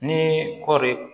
Ni kɔɔri